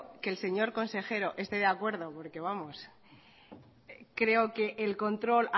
que el señor consejero esté de acuerdo porque vamos creo que el control